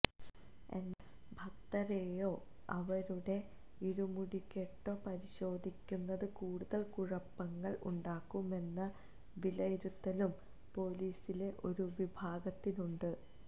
എന്നാല് ഭക്തരേയോ അവരുടെ ഇരുമുടികെട്ടോ പരിശോധിക്കുന്നത് കൂടുതല് കുഴപ്പങ്ങള് ഉണ്ടാകുമെന്ന വിലയിരുത്തലും പോലീസിലെ ഒരു വിഭാഗത്തിനുണ്ട്